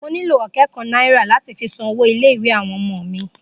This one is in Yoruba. Mo nílò ọ̀kẹ́ kan náírà láti fi san owó ilé ìwé àwọn ọmọ mi